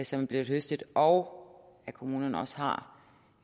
som er blevet høstet og at kommunerne også har